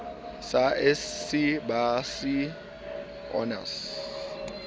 b sc b sc honours